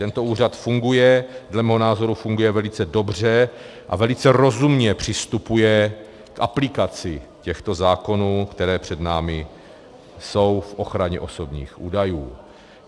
Tento úřad funguje, dle mého názoru funguje velice dobře a velice rozumně přistupuje k aplikaci těchto zákonů, které před námi jsou v ochraně osobních údajů.